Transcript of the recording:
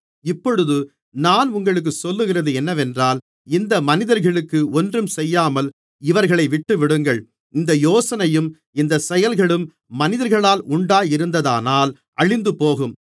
இப்பொழுது நான் உங்களுக்குச் சொல்லுகிறது என்னவென்றால் இந்த மனிதர்களுக்கு ஒன்றும் செய்யாமல் இவர்களை விட்டுவிடுங்கள் இந்த யோசனையும் இந்தச் செயல்களும் மனிதர்களால் உண்டாயிருந்ததானால் அழிந்துபோகும்